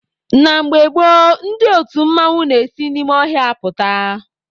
Na mgbe gboo, ndị otu mmanwụ n'esi n'ime ọhịa apụta.